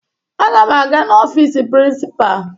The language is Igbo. Aga m aga n'ọfiisi prịnsịpaa